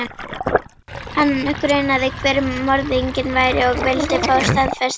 Hana grunaði hver morðinginn væri og vildi fá staðfestingu.